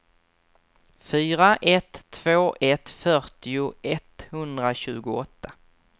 fyra ett två ett fyrtio etthundratjugoåtta